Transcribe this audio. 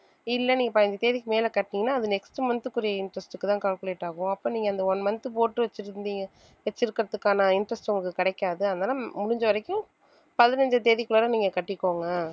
இல்லை நீங்க பதினஞ்சு தேதிக்கு மேலே கட்டுனீங்கன்னா அது next month குரிய interest க்குதான் calculate ஆகும் அப்போ நீங்க அந்த one month போட்டு வச்சிருந்தீங்க வைச்சிருக்கிறதுக்கான interest உங்களுக்குக் கிடைக்காது அதனாலே முடிஞ்ச வரைக்கும் பதினஞ்சு தேதிக்குள்ளாற நீங்க கட்டிக்கோங்க